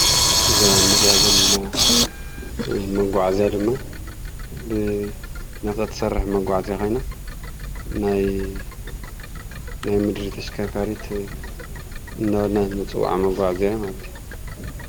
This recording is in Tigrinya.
እዛ ንርእያ ዘለና መጉዓዚያ ድማ ብናፍጣ ትሰርሕ መጉዓዚያ ኮይና ናይ ምድሪ ተሽከርካሪት እናበልና ንፅውዓ መጉዓዚያ ማለት እዩ።